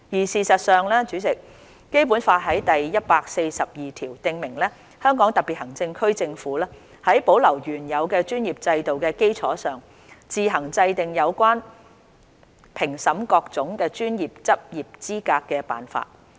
事實上，代理主席，《基本法》第一百四十二條訂明："香港特別行政區政府在保留原有的專業制度的基礎上，自行制定有關評審各種專業的執業資格的辦法。